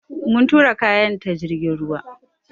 Mun tura kayan ta jirgin ruwa.